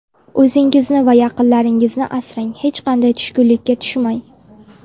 O‘zingizni va yaqinlaringizni asrang, hech qachon tushkunlikka tushmang.